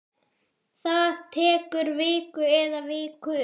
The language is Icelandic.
Það tekur viku eða vikur.